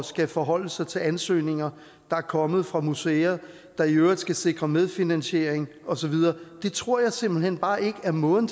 skal forholde sig til ansøgninger der er kommet fra museer der i øvrigt skal sikre medfinansiering osv tror jeg simpelt hen bare ikke er måden